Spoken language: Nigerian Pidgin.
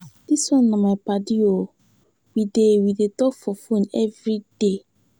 Dis one na my paddy o, we dey we dey talk for fone everyday.